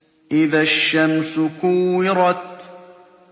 إِذَا الشَّمْسُ كُوِّرَتْ